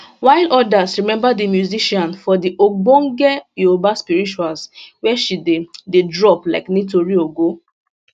while odas remember di musician for di ogbonge youba spirituals wey she dey dey drop like nitori ogo